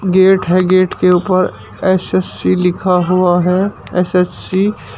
gate है gate के ऊपर एस_एस_सी लिखा हुआ है एस_एस_सी --